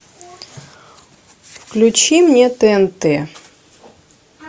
включи мне тнт